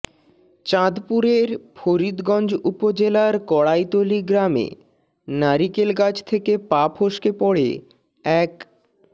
চাঁদপুরের ফরিদগঞ্জ উপজেলার কড়াইতলী গ্রামে নারিকেল গাছ থেকে পা ফসকে পড়ে এক